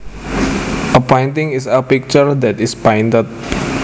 A painting is a picture that is painted